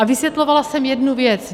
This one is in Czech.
A vysvětlovala jsem jednu věc.